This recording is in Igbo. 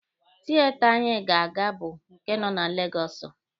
Tieta anyị ga-aga bụ nke nọ na Legọsụ.